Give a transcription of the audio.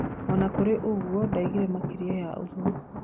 Ona kũrĩ ũguo ndaugire makeria ya ũguo